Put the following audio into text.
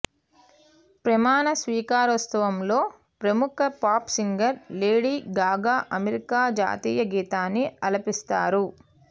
ప్రమాణ స్వీకారోత్సవంలో ప్రముఖ pop singer Lady Gaga America జాతీయ గీతాన్ని ఆలపిస్తారు